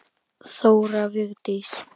Þóra Vigdís.